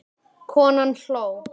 Konan hló.